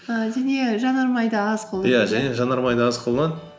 ііі және жанармайды аз иә және жанармайды аз қолданады